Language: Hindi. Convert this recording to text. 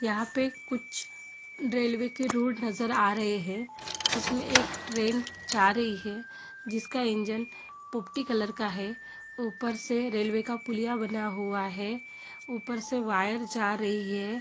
यहाँ पे कुछ रेलवे के रोड नजर आ रहे हैं जिसमे एक ट्रेन जा रही है जिसका इंजन पोपटी कलर का है। ऊपर से रेलवे का पुलिया बना हुआ है। ऊपर से वायर जा रही है।